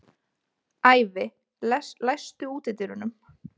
Ævi, læstu útidyrunum.